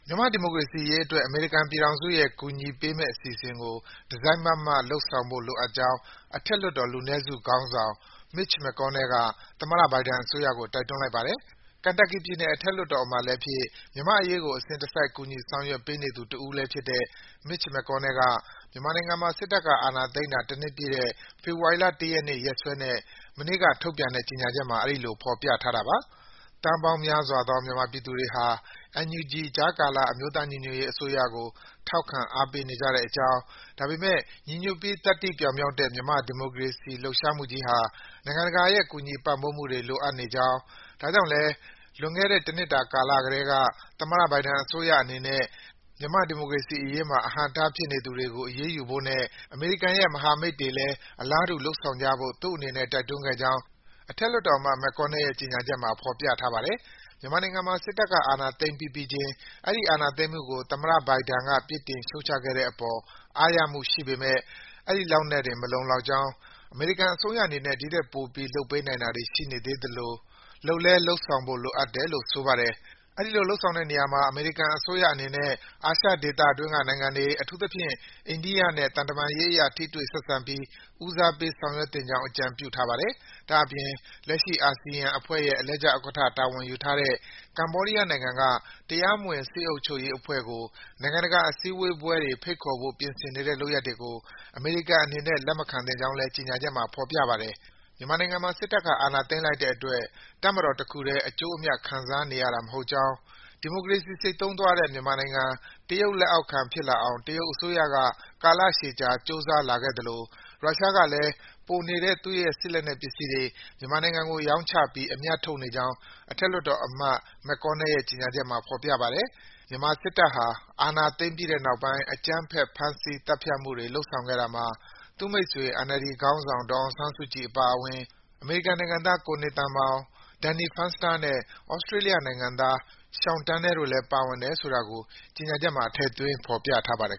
မြန်မာ့ဒီမိုကေရစီရေးအတွက် အမေရိကန်ပြည်ထောင်စုကကူညီမယ့်အစီအစဉ်ကို တစိုက်မတ်မတ်လုပ်ဆောင်ဖို့လိုအပ်ကြောင်း အထက်လွှတ်တော် လူနည်းစုခေါင်းဆောင် Mitch McConnell က သမ္မတ Biden အစိုးရကို တိုက်တွန်းလိုက်ပါတယ်။ Kentucky ပြည်နယ် အထက်လွှတ်တော်အမတ်လည်းဖြစ်၊ မြန်မာ့အေရးကို အစဉ်တစိုက် ကူညီဆောင်ရွက်ပေးနေသူတဦးလည်းဖြစ်တဲ့ Mitch McConnell က မြန်မာနိုင်ငံမှာ စစ်တပ်ကအာဏာသိမ်းတာ တနှစ်ပြည့်တဲ့ မနေ့ ဖေဖော်ဝါရီလ ၁ ရက်နေ့ ရက်စွဲနဲ့ထုတ်ပြန်တဲ့ ကြေညာချက်မှာ အဲဒီလို ဖော်ပြထားတာပါ။ သန်းပေါင်းများစွာသော မြန်မာပြည်သူတွေဟာ NUG ကြားကာလ အမျိုးသားညီညွတ်ရေးအစိုးရကို ထောက်ခံအားပေးနေကြေကြာင်း၊ ဒါပေမယ့် ညီညွတ်ပြီး သတ္တိပြောင်မြောက်တဲ့ မြန်မာ့ ဒီမိုကေရစီလှုပ်ရှားမှုကြီးဟာ နိုင်ငံတကာရဲ့ ကူညီပံ့ပိုးမှုတွေ လိုအပ်ကြောင်း၊ ဒါကြောင့်လည်း လွန်ခဲ့တဲ့ တနှစ်တာကတည်းက သမ္မတ Biden အစိုးရအနေနဲ့ မြန်မာ့ဒီမိုကေရစီအရေးမှာ အဟန့်အတားဖြစ်နေသူတွေကို အရေးယူဖို့နဲ့ အမေရိကန်ရဲ့မဟာမိတ်တွေလည်း အလားတူ လုပ်ဆောင်ကြဖို့ သူ့အနေနဲ့ တိုက်တွန်းခဲ့ကြောင်း အထက်လွှတ်တော်အမတ် McConnell ရဲ့ ကြေညာချက်မှာ ဖော်ပြထားပါတယ်။ မြန်မာနိုင်ငံမှာ စစ်တပ်က အာဏာသိမ်းပြီးပြီးချင်း အဲဒီ အာဏာသိမ်းမှုကို သမ္မတ Biden က ပြစ်တင်ရှုတ်ချခဲ့တဲ့အေပါ် အားရမှုရှိပေမယ့် အဲဒီလောက်နဲ့တင် မလုံလောက်ကြောင်း၊ အမေရိကန်အစိုးရအေနနဲ့ ဒီထက်ပိုပြီး လုပ်ပေးနိုင်တာတွေရှိေနေသးသလို လုပ်လည်း လုပ်ဆောင်ဖို့ လိုအပ်တယ်လို့ ဆိုပါတယ်။ အဲဒီလို လုပ်ဆောင်တဲ့နေရာမှာ အမေရိကန်အစိုးရအနေနဲ့ အာရှဒေသတွင်းက နိုင်ငံတွေ၊ အထူးသဖြင့် အိန္ဒိယနိုင်ငံနဲ့ သံတမန်ရေးအရ ထိတွေ့ဆက်ဆံပြီး ဦးစားပေး ဆောင်ရွက်သင့်ကြောင်း အကြံပြုထားပါတယ်။ ဒါ့အပြင် လက်ရှိ အာဆီယံအဖွဲ့ရဲ့ အလှည့်ကျဥက္ကဋ္ဌ တာဝန်ယူထားတဲ့ ကေမ္ဘာဒီးယားနိုင်ငံက တရားမဝင် စစ်အုပ်ချုပ်ရေးအဖွဲ့ကို နိုင်ငံတကာအစည်းဝေးပွဲတွေ ဖိတ်ခေါ်ဖို့ ပြင်ဆင်နေတဲ့ လုပ်ရပ်တွေကို အေမရိကန်အနေနဲ့ လက်မခံသင့်ကြောင်းလည်း ကြေညာချက်မှာ ဖော်ပြထားပါတယ်။ မြန်မာနိုင်ငံမှာ စစ်တပ်က အာဏာသိမ်းလိုက်တဲ့အတွက် တပ်မတော်တခုတည်း အကျိုးအမြတ် ခံစားနေရတာမဟုတ်ကြောင်း၊ ဒီမိုကေရစီ ဆိတ်သုဉ်းသွားတဲ့ မြန်မာနိုင်ငံ တရုတ် လက်အောက်ခံဖြစ်လာအောင် တရုတ်အစိုးရက ကာလရှည်ကြာ ကြိုးစားလာခဲ့သလို ရုရှားကလည်း ပိုနေတဲ့ စစ်လက်နက်ပစ္စည်းတွေ မြန်မာနိုင်ငံကို ရောင်းချပြီး အမြတ်ထုတ်နေကြောင်း အထက်လွှတ်တော်အမတ် McConnell ရဲ့ ကြေညာချက်မှာ ဖော်ပြထားပါတယ်။ မြန်မာစစ်တပ်ဟာ အာဏာသိမ်းပြီးတဲ့နောက်ပိုင်း အကြမ်းဖက် ဖမ်းဆီးသတ်ဖြတ်မှုတွေ လုပ်ဆောင်ခဲ့တာမှာ သူ့မိတ်ဆွေ NLD ခေါင်းဆောင် ဒေါ်အောင်ဆန်းစုကြည်အပါအဝင် အမေရိကန်နိုင်ငံသား ကိုနေသန်မောင်နဲ့ Danny Fensters၊ နောက်ပြီး သြစေတြးလျနိုင်ငံသား Sean Turnell တို့လည်း ပါဝင်တယ်ဆိုတာကို ကြေညာချက်မှာ ထည့်သွင်း ဖော်ပြထားပါတယ်